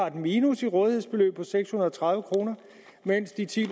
et minus i rådighedsbeløbet på seks hundrede og tredive kr mens de ti